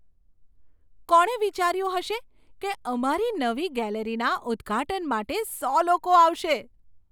કોણે વિચાર્યું હશે કે અમારી નવી ગેલેરીના ઉદ્ઘાટન માટે સો લોકો આવશે?